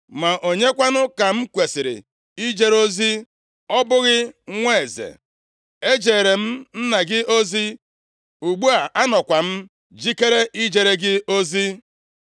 Ma onye kwanụ ka m kwesiri ijere ozi? Ọ bụghị nwa eze? Ejeere m nna gị ozi, ugbu a anọkwa m jikere ijere gị ozi!”